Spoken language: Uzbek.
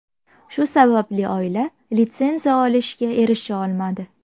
Shu sababli oila litsenziya olishga erisha olmadi.